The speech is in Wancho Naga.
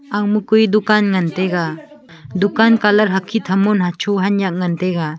aga ma koi dukan ngan taiga dukan colour hakhit hamon hacho hanak ngan taiga.